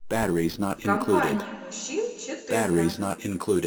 в компании мужчин четыре ка